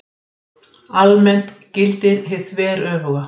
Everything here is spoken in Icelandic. Það helgast af því að heimildir um fyrsta tímabil listasögunnar eru ekki miklar.